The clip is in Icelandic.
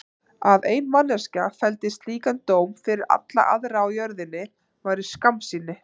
Að ein manneskja felldi slíkan dóm fyrir alla aðra á jörðinni væri skammsýni.